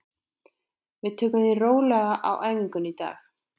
Við tökum því rólega á æfingunni í dag.